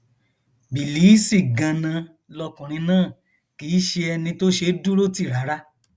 bílíìsì ganan lọkùnrin náà kì í ṣe ẹni tó ṣeé dúró tì rárá